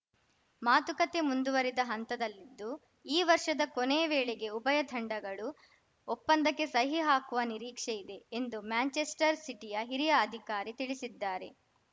ಮಾತುಕತೆ ಮುಂದುವರಿದ ಹಂತದಲ್ಲಿದ್ದು ಈ ವರ್ಷದ ಕೊನೆ ವೇಳೆಗೆ ಉಭಯ ತಂಡಗಳು ಒಪ್ಪಂದಕ್ಕೆ ಸಹಿ ಹಾಕುವ ನಿರೀಕ್ಷೆ ಇದೆ ಎಂದು ಮ್ಯಾಂಚೆಸ್ಟರ್‌ ಸಿಟಿಯ ಹಿರಿಯ ಅಧಿಕಾರಿ ತಿಳಿಸಿದ್ದಾರೆ